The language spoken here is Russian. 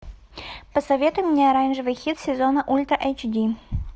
посоветуй мне оранжевый хит сезона ультра эйч ди